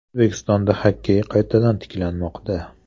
O‘zbekistonda xokkey qaytadan tiklanmoqda.